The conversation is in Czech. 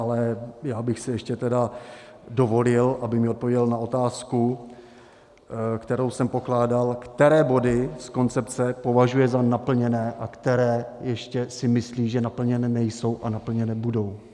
Ale já bych si ještě tedy dovolil, aby mi odpověděl na otázku, kterou jsem pokládal, které body z koncepce považuje za naplněné a které ještě si myslí, že naplněny nejsou a naplněny budou.